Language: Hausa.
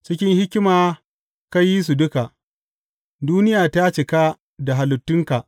Cikin hikima ka yi su duka; duniya ta cika da halittunka.